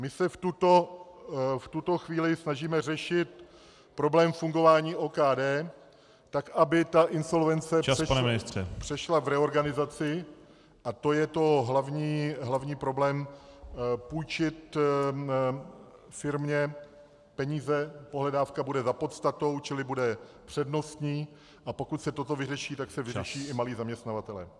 My se v tuto chvíli snažíme řešit problém fungování OKD, tak aby ta insolvence přešla v reorganizaci, a to je ten hlavní problém, půjčit firmě peníze, pohledávka bude za podstatou, čili bude přednostní, a pokud se toto vyřeší, tak se vyřeší i malí zaměstnavatelé.